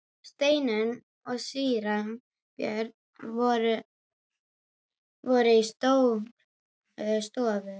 Steinunn og síra Björn voru í Stórustofu.